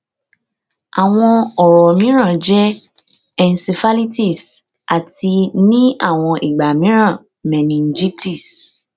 awọn ọrọ miiran jẹ encephalitis ati ni awọn igba miiran meningitis